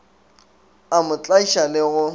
a mo tlaiša le go